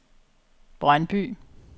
Brøndby